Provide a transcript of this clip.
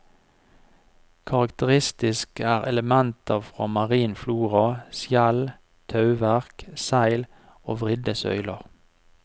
Karakteristisk er elementer fra marin flora, skjell, tauverk, seil og vridde søyler.